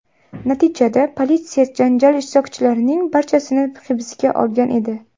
Natijada politsiya janjal ishtirokchilarining barchasini hibsga olgan edi.